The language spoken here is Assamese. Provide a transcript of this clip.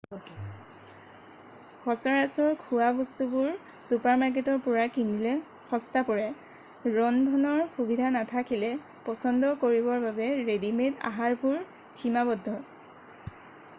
সচৰাচৰ খোৱা বস্তুবোৰ চুপাৰমাৰ্কেটৰ পৰা কিনিলে সস্তা পৰে ৰন্ধনৰ সুবিধা নাথাকিলে পচন্দ কৰিবৰ বাবে ৰেডি-মেড আহাৰবোৰ সীমাবদ্ধ